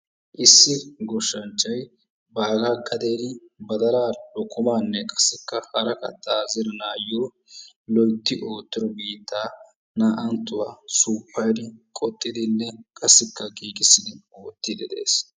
Issi goshshanchchay bagga gaden badala, lokkomanne qassikka hara katta zeranawu loytti ooto biittaa naa''anttuwa suppayddi qoxxidinne qassikka giigissidi oottide de'ees.